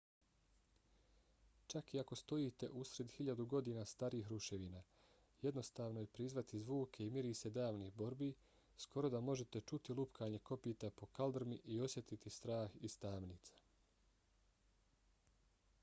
čak i ako stojite usred hiljadu godina starih ruševina jednostavno je prizvati zvuke i mirise davnih borbi skoro da možete čuti lupkanje kopita po kaldrmi i osjetiti strah iz tamnica